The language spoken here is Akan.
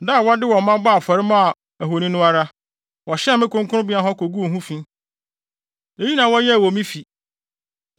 Da a wɔde wɔn mma bɔɔ afɔre maa wɔn ahoni no ara, wɔhyɛn me kronkronbea hɔ koguu ho fi. Eyi na wɔyɛɛ wɔ me fi.